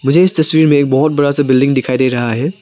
मुझे इस तस्वीर में बहुत बड़ा सा बिल्डिंग दिखाई दे रहा है।